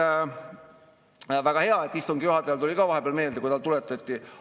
Eesti prioriteet praegu on siiski lähimaa õhutõrje ja tankitõrje, loomulikult ka laevatõrje, mis kõik on väga tõhusalt töös olnud.